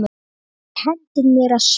Þú kenndir mér að spila.